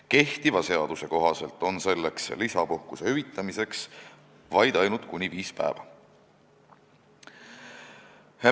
Kehtiva seaduse kohaselt on lisapuhkus vaid kuni viis päeva.